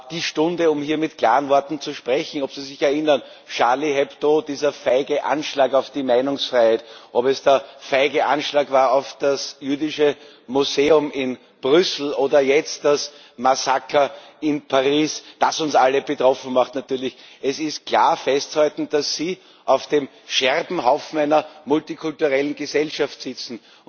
Es ist aber auch heute die Stunde, um hier mit klaren Worten zu sprechen ob Sie sich erinnern, Charlie Hebdo, dieser feige Anschlag auf die Meinungsfreiheit, ob es der feige Anschlag war auf das Jüdische Museum in Brüssel oder jetzt das Massaker in Paris, das uns alle betroffen macht. Natürlich, es ist klar festzuhalten, dass Sie auf dem Scherbenhaufen einer multikulturellen Gesellschaft sitzen.